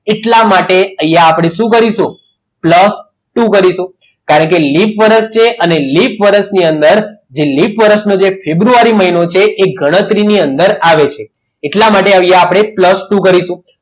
એટલા માટે અહીંયા આપણે શું કરીશું? plus ટુ કરીશું કારણ કે લિપ વર્ષ છે અને લિપ વર્ષની અંદર જે લીપ વરસનો ફેબ્રુઆરી મહિનો છે તે ગણતરીની અંદર આવે છે એટલા માટે અહીંયા આપણે plus ટુ કરીશું